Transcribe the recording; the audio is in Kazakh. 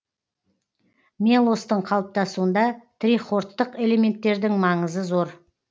мелостың қалыптасуында трихордтық элементтердің маңызы зор